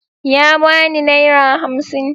Ya ba ni naira hamsin.